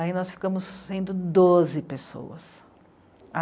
Aí nós ficamos sendo doze pessoas.